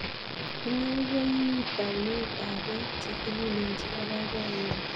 Inye ko iu taunetap pek che tililen chepo poipoiyenyu.